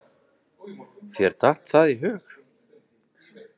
Þér datt það í hug?